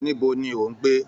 Níbo ni o n gbé?